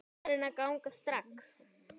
Farin að ganga strax!